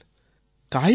lifestyle